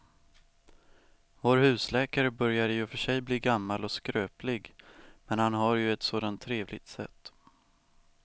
Vår husläkare börjar i och för sig bli gammal och skröplig, men han har ju ett sådant trevligt sätt!